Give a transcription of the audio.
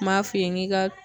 N m'a f'i ye n k'i ka